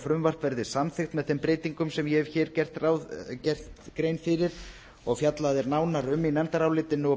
frumvarp verði samþykkt með þeim breytingum sem ég hef hér gert grein fyrir og fjallað er nánar um í nefndarálitinu og